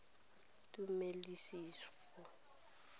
tumelesego